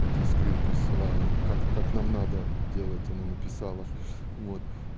ты скрин присылала как как нам надо делать она написала вот